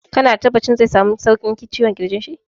Ka na da tabbacin zai samu sauƙin ciwon ƙirjin?